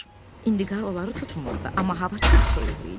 İndi qar onları tutmurdu, amma hava çox soyuq idi.